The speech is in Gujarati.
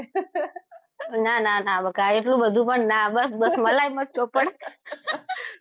ના ના ના બકા એટલું બધું પણ ના બસ બસ મલાઈ મત ચોપડ